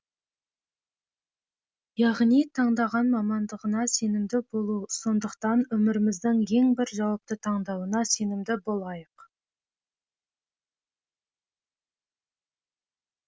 яғни таңдаған мамандығыңа сенімді болу сондықтан өміріміздің ең бір жауапты таңдауына сенімді болайық